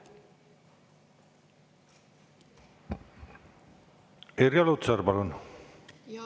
Irja Lutsar, palun!